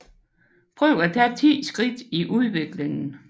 Prøv at tage 10 skridt i udviklingen